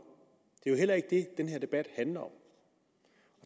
det er jo heller ikke det den her debat handler om